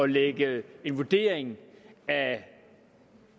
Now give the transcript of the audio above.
lægge en vurdering af